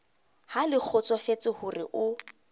ha le kgotsofetse hore o